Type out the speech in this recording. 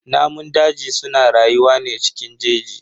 Namun daji suna rayuwa ne cikin jeji.